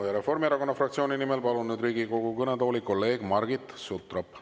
Palun Reformierakonna fraktsiooni nimel siia Riigikogu kõnetooli kolleeg Margit Sutropi.